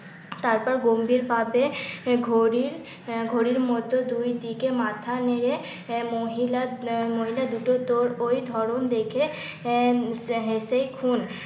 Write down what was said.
তারপর গম্ভীর ভাবে ঘড়ির আহ ঘড়ির ঘড়ির মতো দুই দিকে মাথা নেড়ে, মহিলার মহিলা দুটো তো ওই ধরন দেখে আহ হেসে খুন।